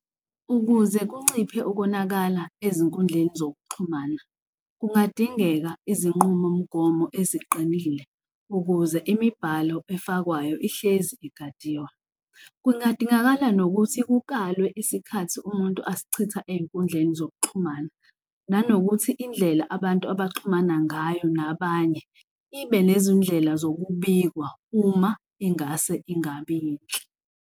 Ukuze kunciphe ukonakala ezinkundleni zokuxhumana, kungadingeka izinqumomgomo eziqinile ukuze imibhalo efakwayo ihlezi igadiwa. Kungadingakala nokuthi kukalwe isikhathi, umuntu asichitha ey'nkundleni zokuxhumana nanokuthi indlela abantu abaxhumana ngayo nabanye ibe nezindlela zokubikwa uma ingase ingabi yinhle.